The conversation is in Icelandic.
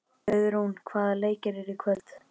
Auðrún, hvaða leikir eru í kvöld?